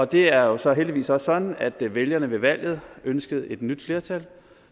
det er jo så heldigvis også sådan at vælgerne ved valget ønskede et nyt flertal